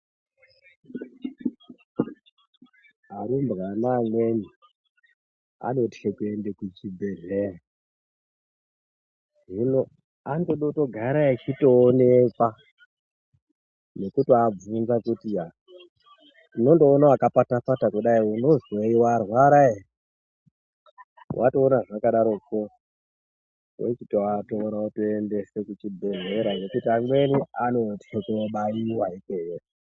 Arumbwana amweni anoti tikuende kuchibhedhlera. Zvino anotoda kutogara achitoonekwa nekutoabvunza kuti yaa unondoona yakapata pata unonzi warwara here watoona zvakadaropo wochitoatora wotoendese kuchibhedhlera nokuti amweni anoti tirikunobayiwa ikweyo.